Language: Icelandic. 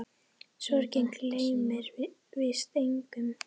Sorgin gleymir víst engum.